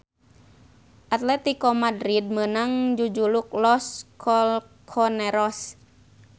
Atletico Madrid meunang jujuluk Los Colchoneros.